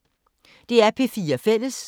DR P4 Fælles